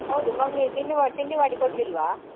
ಹೌದು mummy ತಿಂಡಿ ಮಾ~ ತಿಂಡಿ ಮಾಡಿ ಕೊಡ್ಲಿಲ್ವ?